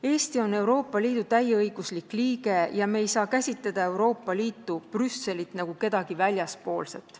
Eesti on Euroopa Liidu täieõiguslik liige ja me ei saa käsitleda Euroopa Liitu, Brüsselit, nagu kedagi väljaspoolset.